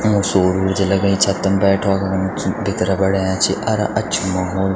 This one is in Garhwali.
युंक सोर उर्जा लगई छतम बैठक कुण भीतर बणया छी अर अछू लगणु।